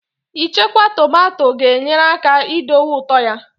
Ichekwa tomato ga-enyere aka idowe ụtọ ya